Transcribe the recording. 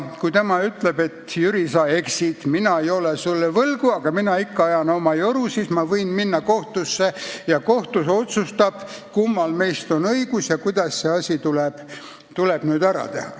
Kui tema ütleb, et Jüri, sa eksid, mina ei ole sulle võlgu, aga mina ikka ajan oma joru, siis ma võin minna kohtusse ja kohus otsustab, kummal meist on õigus ja kuidas see asi tuleb ära lahendada.